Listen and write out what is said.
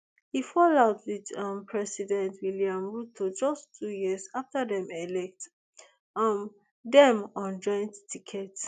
e fall out wit um president william ruto just two years afta dem elect um dem on joint ticket